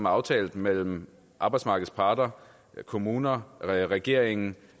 aftalt mellem arbejdsmarkedets parter kommuner regeringen